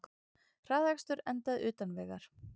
Hraðakstur endaði utan vegar